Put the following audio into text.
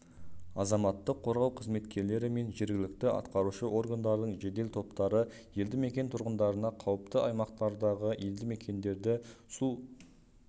азаматтық қорғау қызметкерлері мен жергілікті атқарушы органдардың жедел топтары елді мекен тұрғындарына қауіпті аймақтардағы елді мекендерді